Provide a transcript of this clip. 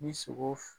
Ni sogo